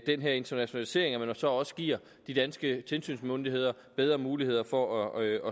den her internationalisering at man så også giver de danske tilsynsmyndigheder bedre muligheder for at